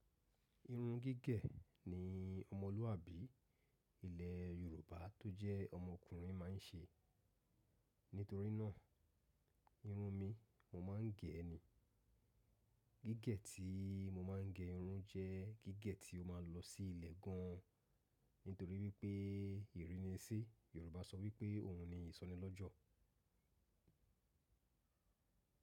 Irun gígẹ̀ ni ọmọlúwàbí ilẹ̀ Yorùbá tó jẹ́ ọmọkùnrin máa ń ṣe. Nítorí náà, irun mi mo máa ń gẹ̀ ni. Gígẹ̀ tí mo máa ń gẹ irun jẹ́ gígẹ̀ tí ó máa lọ sí ilẹ̀ gan an. Nítorí wípé ìrínisí Yorùbá sọ wípé ohun ni ìsọnilọ́jọ̀